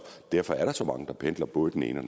derfor er der så mange der pendler både den ene